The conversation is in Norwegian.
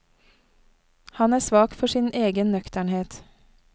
Han er svak for sin egen nøkternhet.